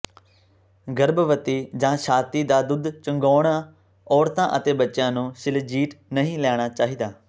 ਗਰਭਵਤੀ ਜਾਂ ਛਾਤੀ ਦਾ ਦੁੱਧ ਚੁੰਘਾਉਣਾ ਔਰਤਾਂ ਅਤੇ ਬੱਚਿਆਂ ਨੂੰ ਸ਼ਿਲਜ਼ੀਟ ਨਹੀਂ ਲੈਣਾ ਚਾਹੀਦਾ